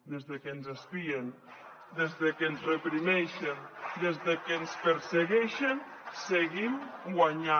des de que ens espien des de que ens reprimeixen des de que ens persegueixen seguim guanyant